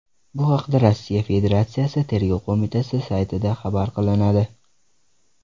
Bu haqda Rossiya Federatsiyasi Tergov qo‘mitasi saytida xabar qilinadi .